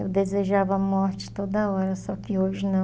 Eu desejava morte toda hora, só que hoje não.